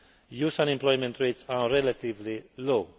youth unemployment rates are relatively low.